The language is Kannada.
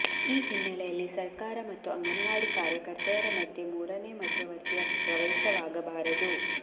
ಈ ಹಿನ್ನೆಲೆಯಲ್ಲಿ ಸರಕಾರ ಮತ್ತು ಅಂಗನವಾಡಿ ಕಾರ್ಯಕರ್ತೆಯರ ಮಧ್ಯೆ ಮೂರನೇ ಮಧ್ಯವರ್ತಿಯ ಪ್ರವೇಶವಾಗಬಾರದು